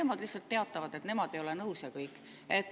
Nemad lihtsalt teatavad, et nemad ei ole nõus, ja kõik.